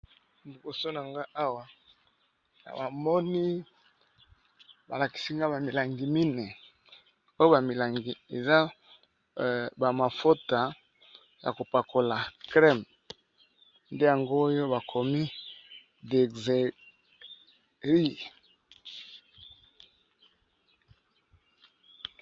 Liboso na nga awa namoni ba lakisi nga ba milangi mine ,oyo ba milangi eza ba mafuta ya kopakola crème ,nde yango oyo bakomi Dexeryl.